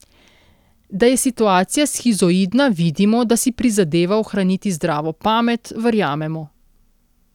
Da je situacija shizoidna, vidimo, da si prizadeva ohraniti zdravo pamet, verjamemo.